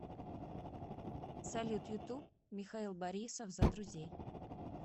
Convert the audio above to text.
салют ютуб михаил борисов за друзей